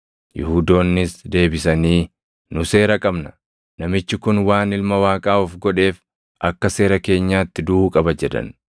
Yihuudoonnis deebisanii, “Nu seera qabna; namichi kun waan Ilma Waaqaa of godheef akka seera keenyaatti duʼuu qaba” jedhan.